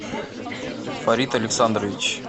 фарид александрович